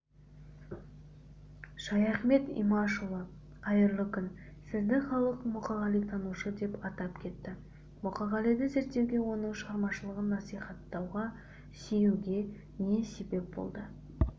шаяхмет имашұлы қайырлы күн сізді халық мұқағалитанушы деп атап кетті мұқағалиды зерттеуге оның шығармашылығын насихаттауға сүюге не себеп болды